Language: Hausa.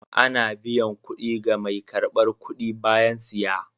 Ana biyan kuɗi ga mai karɓar kuɗi bayan siya.